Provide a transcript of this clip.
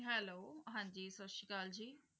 Hello ਹਾਂਜੀ ਸਤਿ ਸ੍ਰੀ ਅਕਾਲ ਜੀ।